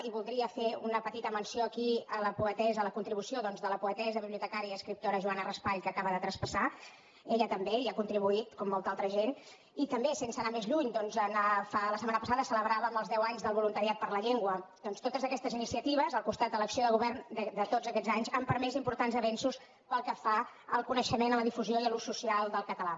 i voldria fer una petita menció aquí a la poetessa a la contribució doncs de la poetessa bibliotecària i escriptora joana raspall que acaba de traspassar ella també hi ha contribuït com molta altra gent i també sense anar més lluny doncs la setmana passada celebràvem els deu anys del voluntariat per la llengua per tant totes aquestes iniciatives al costat de l’acció de govern de tots aquests anys han permès importants avenços pel que fa al coneixement a la difusió i a l’ús social del català